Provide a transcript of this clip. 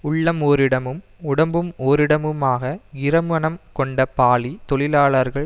உள்ளம் ஓரிடமும் உடம்பு ஓரிடமுமாக இருமனம் கொண்ட பாலி தொழிலாளர்கள்